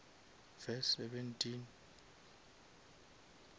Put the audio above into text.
verse seventeen